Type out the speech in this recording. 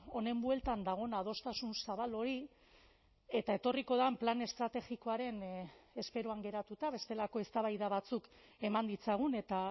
honen bueltan dagoen adostasun zabal hori eta etorriko den plan estrategikoaren esperoan geratuta bestelako eztabaida batzuk eman ditzagun eta